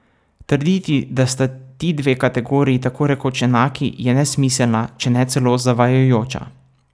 Trditi, da sta ti dve kategoriji tako rekoč enaki, je nesmiselna, če ne celo zavajajoča.